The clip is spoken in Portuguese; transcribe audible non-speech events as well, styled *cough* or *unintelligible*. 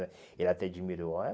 Ele até admirou. *unintelligible*